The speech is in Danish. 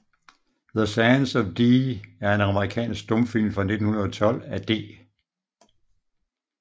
The Sands of Dee er en amerikansk stumfilm fra 1912 af D